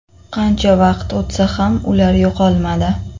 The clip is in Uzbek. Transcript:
Qancha vaqt o‘tsa ham ular yo‘qolmadi.